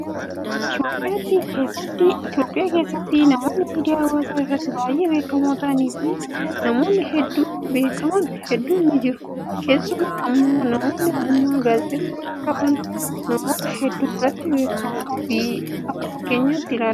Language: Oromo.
Itoophiyaa keessatti namoonni miidiyaa hawaasaa irratti baay'ee beekamoo ta'anii fi nama hedduun beekaman hedduun ni jiru. Keessumaa immoo namoonni ogummaa gaazexeessummaa qaban namoota hedduu biratti beekamoo fi akka fakkeenyaatti ilaalamu.